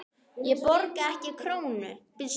Hann borgaði ekki krónu.